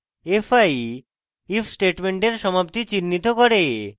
fi if স্টেটমেন্টের সমাপ্তি চিন্হিত করে